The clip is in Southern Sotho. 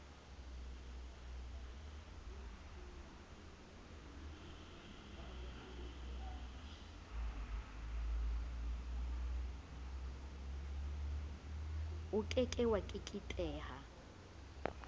o ke ke wa keketeha